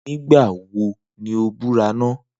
Nigba wo ni o bura naa?